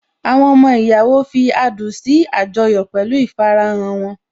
Àwọn ọmọ ìyàwó fi adùn adùn sí àjọyọ̀ pẹ̀lú ìfarahàn wọn